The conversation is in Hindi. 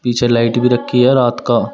पीछे लाइट भी रखी है रात का।